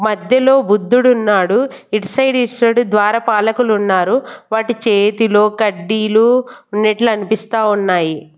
మధ్యలో బుద్ధుడున్నాడు ఇటు సైడ్ ఇటు సైడు ద్వారపాలకులున్నారు వాటి చేతిలో కడ్డీలు ఉన్నెట్లు అన్పిస్తా ఉన్నాయి.